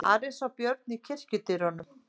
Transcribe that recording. Ari sá Björn í kirkjudyrunum.